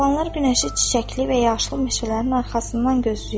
Çobanlar günəşi çiçəkli və yaşlı meşələrin arxasından gözləyir.